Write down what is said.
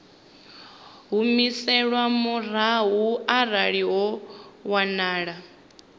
humiselwa murahu arali ho wanala